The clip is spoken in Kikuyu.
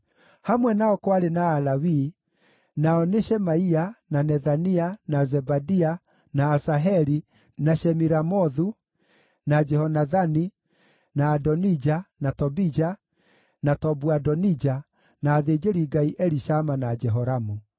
Hamwe nao kwarĩ na Alawii nao nĩ, Shemaia, na Nethania, na Zebadia, na Asaheli, na Shemiramothu, na Jehonathani, na Adonija, na Tobija, na Tobu-Adonija, na athĩnjĩri-Ngai Elishama na Jehoramu.